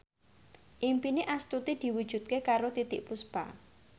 impine Astuti diwujudke karo Titiek Puspa